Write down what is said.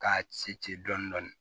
K'a ci ci ci dɔɔnin